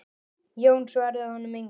Jón svaraði honum engu.